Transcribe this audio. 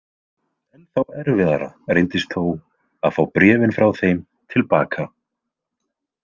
Ennþá erfiðara reyndist þó að fá bréfin frá þeim til baka.